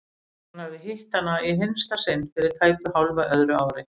Hann hafði hitt hana í hinsta sinn fyrir tæpu hálfu öðru ári.